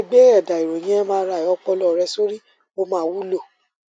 bí o bá lè gbé ẹdà ìròyìn mri ọpọlọ rẹ sórí ó máa wúlò